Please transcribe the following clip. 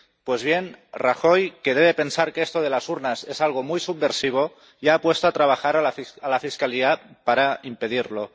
Pues bien, el señor Rajoy, que debe de pensar que esto de las urnas es algo muy subversivo, ya ha puesto a trabajar a la Fiscalía para impedirlo.